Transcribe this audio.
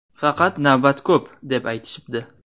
Faqat navbat ko‘p, deb aytishibdi.